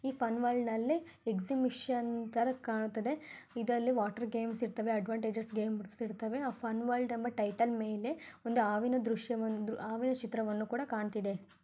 ಈ ಫನ್ ವರ್ಲ್ಡ್ನಲ್ಲಿ ಎಗಜಿಬಿಷನ್ ತಾರಾ ಕಾಣ್ತಿದೆ ಇದರಲ್ಲಿ ವಾಟರ್ ಗೇಮ್ಸ್ ಇರತವೇ ಅಡ್ವಾಂಟೇಜ್ ರತಾವೆ ಆ ಫನ್ ವರ್ಲ್ಡ್ ಅನ್ನೋ ಟೈಟಲ್ ಒಂದು ಹಾವಿನ ದೃಶವನ್ನು ಕೂಡಾ ಕಾಣ್ತಿದೆ